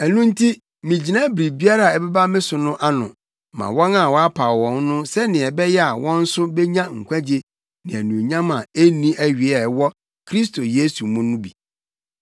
Ɛno nti, migyina biribiara a ɛbɛba me so no ano ma wɔn a wɔapaw wɔn no sɛnea ɛbɛyɛ a wɔn nso benya nkwagye ne anuonyam a enni awiei a ɛwɔ Kristo Yesu mu no bi.